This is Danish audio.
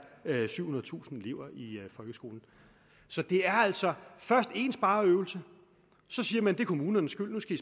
syvhundredetusind elever i folkeskolen så det er altså først en spareøvelse så siger man at det er kommunernes skyld og nu skal